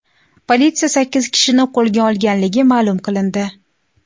Politsiya sakkiz kishini qo‘lga olganligi ma’lum qilindi.